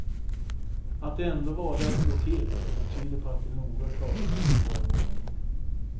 Att de ändå valde att slå till tyder på att de noga kartlagt våra vanor.